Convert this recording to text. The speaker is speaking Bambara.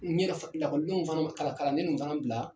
N yɛrɛ fa lakɔlidenw fana ma kalan kalanden ninnu fana bila